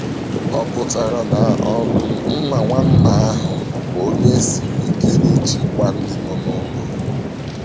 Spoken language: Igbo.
“O pụtara na um nna nwanna ahụ bụ onye siri ike n’ịchịkwa ndị nọ n’ụlọ.”